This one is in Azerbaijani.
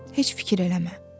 Heç fikir eləmə.